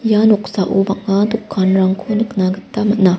ia noksao bang·a dokanrangko nikna gita man·a.